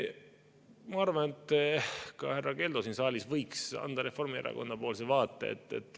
Ma arvan, et ka härra Keldo siin saalis võiks anda Reformierakonna vaate.